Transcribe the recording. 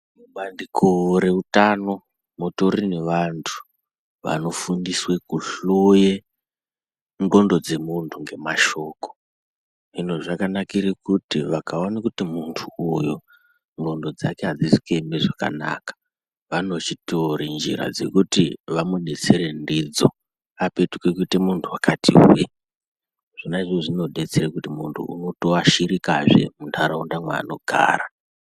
Mubandiko reutano mutori nevantu vanofundiswe kuhloye ndxondo dzemuntu ngemashoko, hino zvakanakire kuti vekaone kuti muntu uyu ndxondo dzake adzizi kueme zvakanaka vanochitore njira dzekuti vamubetsere ndidzo apetuke kuite muntu wakati hwe zvonaizvozvo zvinotobetsera kuti muntu unotoashirikazve mundaraunda mwanogara.